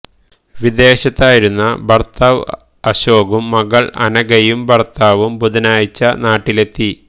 വിദേശത്തായിരുന്ന ഭർത്താവ് അശോകും മകൾ അനഘയും ഭർത്താവും ബുധനാഴ്ച നാട്ടിലെത്തി